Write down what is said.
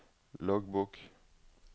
loggbok